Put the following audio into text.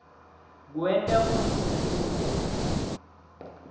kwenta kutsi kube